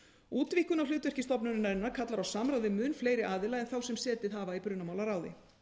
útvíkkun á hlutverki stofnunarinnar kallar á samráð við mun fleiri aðila en þá sem setið hafa í brunamálaráði